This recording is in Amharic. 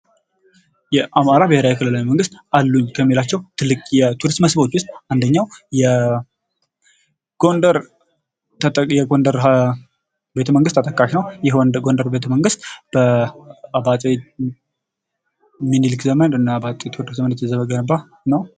የአማራ ብሔራዊ ክልላዊ መንግስት አሉኝ ከሚላቸው ትልቅ የቱሪስት መስህቦች ውስጥ አንደኛው የጎንደር ቤተመንግሥት ተጠቃሽ ነው። ይህ የጎንደር ቤተመንግሥት በአጤ ሚኒሊክ ዘመንና በአጤ ቴዎድሮስ ዘመን የተገነባ ነው።